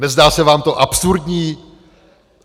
Nezdá se vám to absurdní?